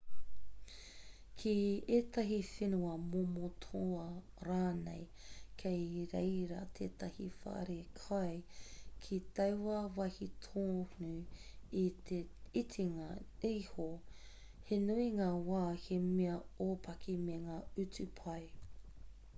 ki ētahi whenua momo toa rānei kei reira tētahi wharekai ki taua wāhi tonu i te itinga iho he nui ngā wā he mea ōpaki me ngā utu pai